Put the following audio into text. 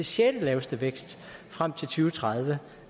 sjettelaveste vækst frem til og tredive